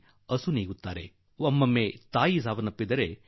ಕೆಲವೊಮ್ಮೆ ತಾಯಿ ಸಾವನ್ನಪ್ಪಿದರೆ ಕೆಲವೊಮ್ಮೆ ಮಗು ಸಾವನ್ನಪ್ಪುತ್ತದೆ